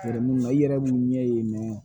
i yɛrɛ mun ɲɛ ye mɛ